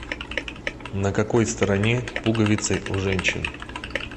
на какой стороне пуговицы у женщин